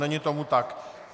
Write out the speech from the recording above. Není tomu tak.